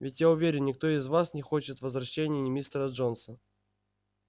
ведь я уверен никто из вас не хочет возвращения мистера джонса